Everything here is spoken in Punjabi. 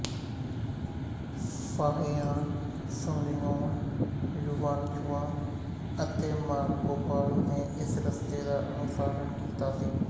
ਫਾਹਿਆਨ ਸੁੰਗਿਉਨ ਯੁਵਾਨਚਵਾਂਗ ਅਤੇ ਮਾਰਕੋਪਾਲੋ ਨੇ ਇਸ ਰਸਤੇ ਦਾ ਅਨੁਸਰਣ ਕੀਤਾ ਸੀ